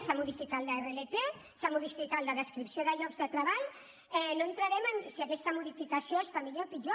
s’ha modificat l’rlt s’ha modificat la descripció de llocs de treball no entrarem en si aquesta modificació està millor o pitjor